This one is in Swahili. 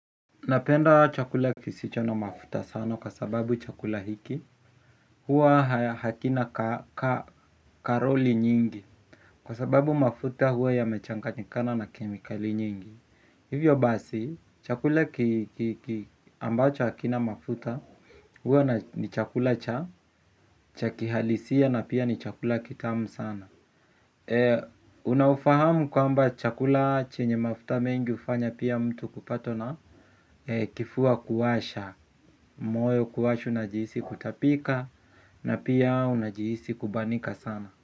Napenda chakula kisicho na mafuta sana kwa sababu chakula hiki huwa hakina karoli nyingi. Kwa sababu mafuta huwa yamechanganyikana na kemikali nyingi. Hivyo basi chakula ambacho hakina mafuta huwa ni chakula cha cha kihalisia na pia ni chakula kitamu sana. Unaufahamu kwamba chakula chenye mafuta mengi ufanya pia mtu kupatwa na kifua kuwasha. Moyo kuwashwa najihisi kutapika na pia unajihisi kubanika sana.